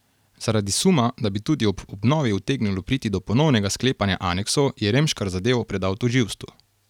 Zaradi suma, da bi tudi ob obnovi utegnilo priti do ponovnega sklepanja aneksov, je Remškar zadevo predal tožilstvu.